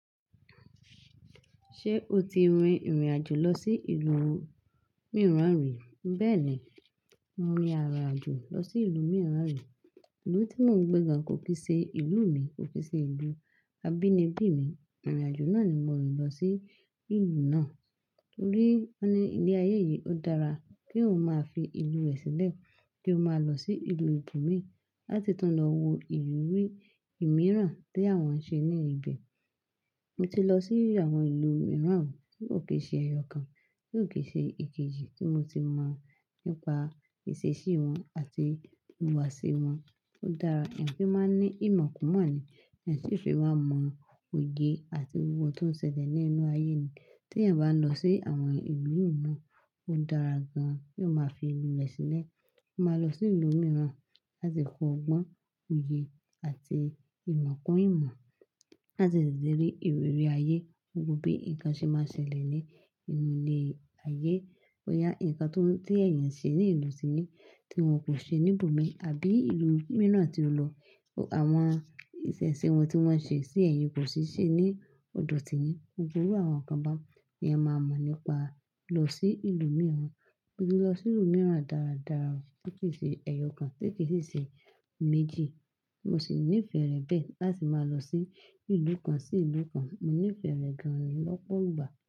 Ṣé o ti rin ìrìn àjò lọ sí ìlú mìíràn rí? Bẹ́ẹ̀ ni, mo rí ara àjò lọ sí ìlú mìíràn rí. Ìlú tí mò ń gbé gan kò kì í ṣe ìlú mi, kò kì í ṣe ìlú abínibí mi. Ìrìn àjò náà ni mò ń lọ sí ìlú náà torí wọ́n ní ilé ayé yìí ó dára kí o máa fi ìlú rẹ sílẹ̀ kí o máa lọ sí ìlú ibòmíì láti tàn lọ wo ìrírí ìmíràn tí àwọn ń ṣe ní ibẹ̀. Mo ti lọ sí àwọn ìlú mìíràn kò kì í ṣe ẹ̀yọ kan, kò kì í ṣe ìkejì tí mo ti lọ̀ nípa ìṣesí wọn àti ìhùwàsí wọn. Ó dára yẹn kí ẹ máa ní ìmọ̀ kún ìmọ̀ ni, yẹn sì fi máa mọ oye àti ohun tó ń ṣẹlẹ̀ ní inú ayé ni. Tí èèyàn bá lọ sí àwọn ìlú mìíràn, ó dára gan kí o máa fi ìlú rẹ sílẹ̀. Ó máa lọ sí ìlú mìíràn láti kọ́gbọ́n oye àti ìmọ̀ kún ìmọ̀ láti lè rí ìrírí ayé, gbogbo bí nǹkan ṣe máa ń ṣẹlẹ̀ ní inú ilé ayé. Ó yá nǹkan tó, tí èèyàn ṣe ní ìlú tìrín tí wọn kò ṣe níbòmíì àbí ìlú mìíràn tí o lọ. Àwọn ìṣesí wọn tí wọ́n ṣe sí ẹ̀yin kò sì ṣe ní ọ̀dọ̀ tìyín. Gbogbo àwọn nǹkan bá ni ẹ máa mọ̀ nípa lọ sí ìlú mìíràn. Mo ti lọ sí ìlú mìíràn dáradára kò kì í ṣe ẹ̀yọ kan, kò kì í ṣe méjì. Mo sì nífẹ̀ẹ́ rẹ̀ bẹ́ẹ̀ láti máa lọ sí ìlú kan sí ìlú kan. Mo nífẹ̀ẹ́ rẹ̀ gan lọ́pọ̀ ìgbà.